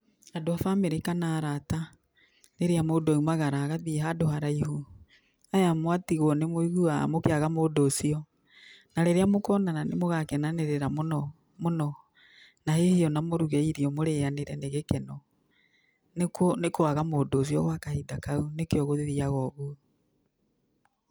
Andũ a bamĩrĩ kana arata, rĩrĩa mũndũ aumagara agathiĩ handũ haraihu, aya mwatigwo nĩ mũiguaga mũkĩaga mũndũ ũcio na rĩrĩa mũkonana nĩ mũgakenanĩrĩra mũno mũno, na hihi o na mũruge irio mũrĩanĩre nĩ gĩkeno, nĩ kũaga mũndũ ũcio gwa kahinda kau nĩkĩo gũthiaga ũguo.